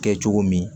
Kɛ cogo min